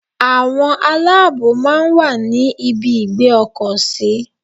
Àwọn aláàbòò máa ń wà ní ibi ìgbé ọkọ̀ sí.